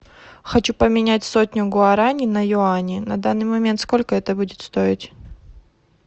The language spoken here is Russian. хочу поменять сотню гуарани на юани на данный момент сколько это будет стоить